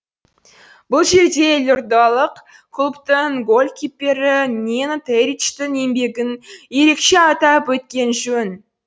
бұл жерде елордалық клубтың голкиппері ненад эричтың еңбегін ерекше атап өткен жөн